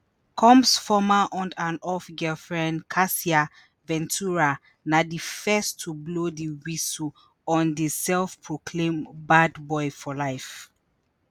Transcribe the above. combs former on-and-off girlfriendcassie ventura na di first to blow di whistle on di self-proclaimed "bad boy for life".